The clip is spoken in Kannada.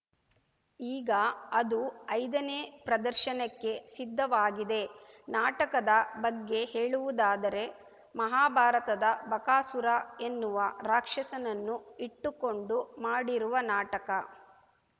ಈಗ ಅದು ಐದನೇ ಪ್ರದರ್ಶನಕ್ಕೆ ಸಿದ್ಧವಾಗಿದೆ ನಾಟಕದ ಬಗ್ಗೆ ಹೇಳುವುದಾದರೆ ಮಹಾಭಾರತದ ಬಕಾಸುರ ಎನ್ನುವ ರಾಕ್ಷಸನನ್ನು ಇಟ್ಟುಕೊಂಡು ಮಾಡಿರುವ ನಾಟಕ